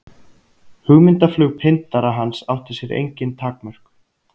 Hugmyndaflug pyndara hans átti sér engin takmörk.